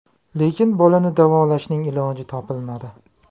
Lekin bolani davolashning iloji topilmadi.